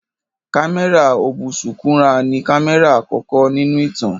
Kámẹ́rà ọ̀bùsúkúrà ni kámẹ́rà àkọ́kọ́ nínú ìtàn